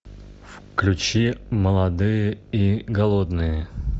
включи молодые и голодные